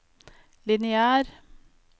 lineær